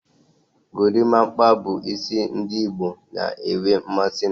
Gorimapa bu isi ndigboo na-enwe mmasi na.